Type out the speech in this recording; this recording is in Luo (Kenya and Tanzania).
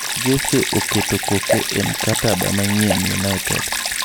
Jesse oketo koke e mkataba manyien United